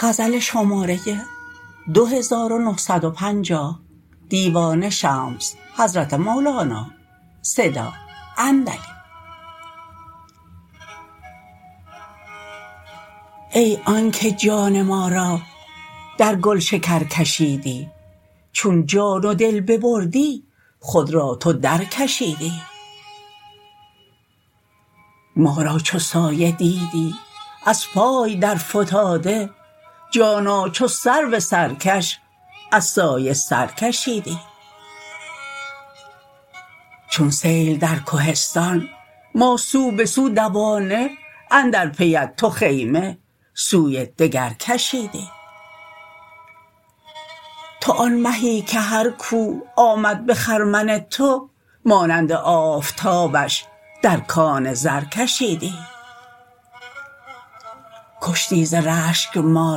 ای آنک جان ما را در گلشکر کشیدی چون جان و دل ببردی خود را تو درکشیدی ما را چو سایه دیدی از پای درفتاده جانا چو سرو سرکش از سایه سر کشیدی چون سیل در کهستان ما سو به سو دوانه اندر پیت تو خیمه سوی دگر کشیدی تو آن مهی که هر کو آمد به خرمن تو مانند آفتابش در کان زر کشیدی کشتی ز رشک ما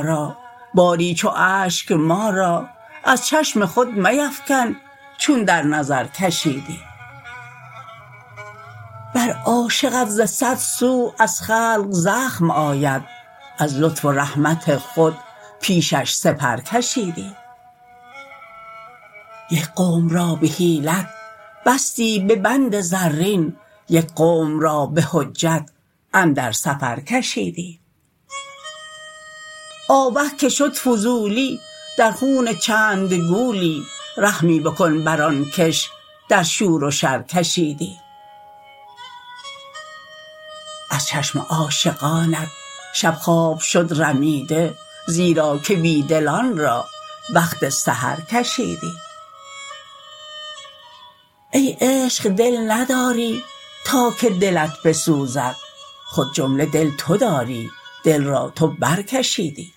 را باری چو اشک ما را از چشم خود میفکن چون در نظر کشیدی بر عاشقت ز صد سو از خلق زخم آید از لطف و رحمت خود پیشش سپر کشیدی یک قوم را به حیلت بستی به بند زرین یک قوم را به حجت اندر سفر کشیدی آوه که شد فضولی در خون چند گولی رحمی بکن بر آن کش در شور و شر کشیدی از چشم عاشقانت شب خواب شد رمیده زیرا که بی دلان را وقت سحر کشیدی ای عشق دل نداری تا که دلت بسوزد خود جمله دل تو داری دل را تو برکشیدی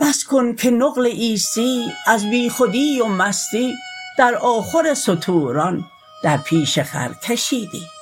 بس کن که نقل عیسی از بیخودی و مستی در آخر ستوران در پیش خر کشیدی